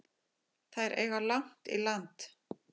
Þær eiga langt í land.